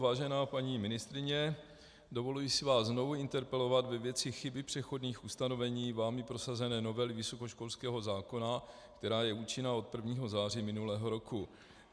Vážená paní ministryně, dovoluji si vás znovu interpelovat ve věci chyby přechodných ustanovení vámi prosazené novely vysokoškolského zákona, která je účinná od 1. září minulého roku.